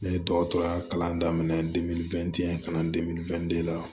Ne ye dɔgɔtɔrɔya kalan daminɛ kalan la